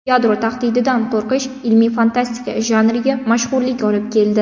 Yadro tahdididan qo‘rqish ilmiy fantastika janriga mashhurlik olib keldi.